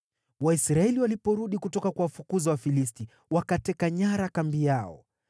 Waisraeli waliporudi kutoka kuwafukuza Wafilisti, waliteka nyara kutoka kambi yao.